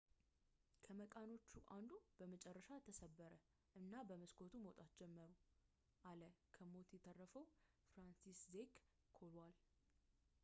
ከመቃኖቹ አንዱ በመጨረሻ ተሰበረ እና በመስኮቱ መውጣት ጀመሩ አለ ከሞት የተረፈው ፍራንሲስዜክ ኮዋል